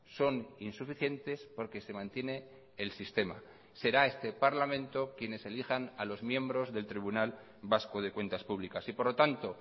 son insuficientes porque se mantiene el sistema será este parlamento quienes elijan a los miembros del tribunal vasco de cuentas públicas y por lo tanto